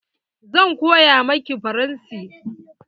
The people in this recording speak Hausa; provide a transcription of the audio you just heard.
Zan koya maki faransanci.